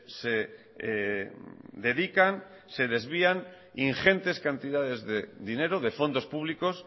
se dedican se desvían ingentes cantidades de dinero de fondos públicos